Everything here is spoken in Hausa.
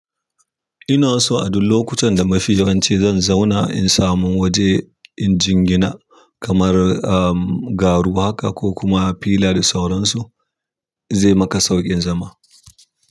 Ina so a duk lokutan da mafi yawanci zan zauna in samu waje inji gina kamar garu haka ko kuma fila da sauransu zai maka sauƙin zama.